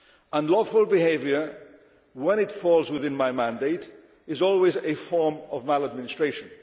Unlawful behaviour, when it falls within my mandate, is always a form of maladministration.